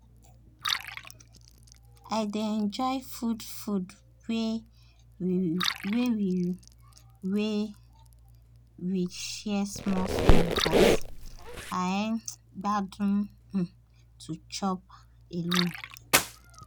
i dey enjoy food food wey we wey we share small small but i um gbadun um to chop alone.